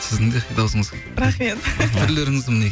сіздің де дауысыңыз рахмет түрлеріңіз міне